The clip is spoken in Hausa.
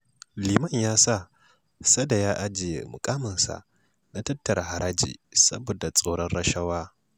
Liman ya sa Sada ya ajiye muƙaminsa na tattara haraji saboda tsoron rashawa